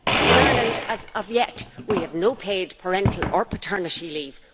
In Ireland, as of yet, we have no paid parental or paternity leave.